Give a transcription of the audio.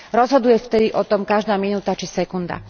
Rozhoduje vtedy o tom každá minutá či sekunda.